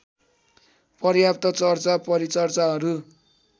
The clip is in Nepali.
पर्याप्त चर्चा परिचर्चाहरू